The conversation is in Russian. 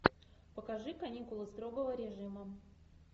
покажи каникулы строгого режима